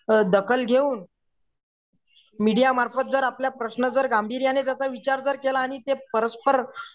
अ दखल घेऊन मीडिया मार्फत जर आपल्या प्रश्नांचा जर गांभीर्याने विचार जर केला आणि ते परस्पर